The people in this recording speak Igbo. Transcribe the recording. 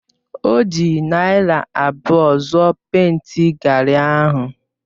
O ji naira abụọ zụọ pèịnti gari ahụ.